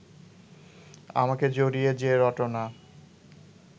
আমাকে জড়িয়ে যে রটনা